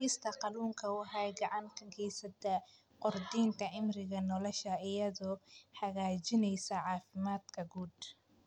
Cunista kalluunka waxay gacan ka geysataa kordhinta cimriga nolosha iyadoo hagaajinaysa caafimaadka guud.